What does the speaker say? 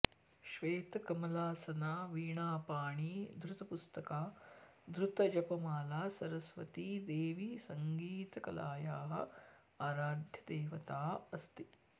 श्वेतकमलासना वीणापाणी धृतपुस्तका धृतजपमाला सरस्वती देवी सङ्गीतकलायाः आराध्यदेवता अस्ति